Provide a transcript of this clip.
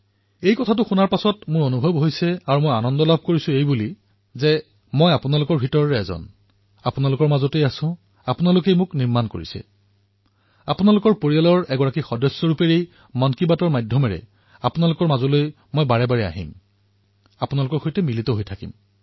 যেতিয়া মই এই কথাষাৰ ব্যাপক ৰূপত শুনিলো তেতিয়া মই অতিশয় সুখী হলো যে মই আপোনালোকৰ আপোনালোকৰ পৰাই মই আপোনালোকৰ মাজত আছো আপোনালোকেই মোক নিৰ্মাণ কৰিছে আৰু এক প্ৰকাৰে মই আপোনালোকৰ পৰিয়ালৰ সদস্যৰ ৰূপত মন কী বাতৰ জৰিয়তে বাৰে বাৰে আহিম আপোনালোকৰ সৈতে জড়িত হম